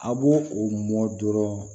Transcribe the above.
A b'o o mɔ dɔrɔn